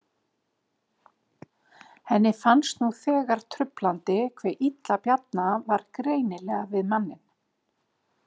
Henni fannst nú þegar truflandi hve illa Bjarna var greinilega við manninn.